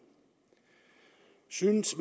synes